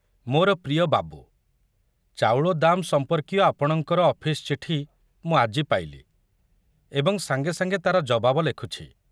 ମୋର ପ୍ରିୟ ବାବୁ, ଚାଉଳ ଦାମ ସମ୍ପର୍କୀୟ ଆପଣଙ୍କର ଅଫିସ ଚିଠି ମୁଁ ଆଜି ପାଇଲି ଏବଂ ସାଙ୍ଗେ ସାଙ୍ଗେ ତାର ଜବାବ ଲେଖୁଛି।